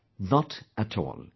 " Not at all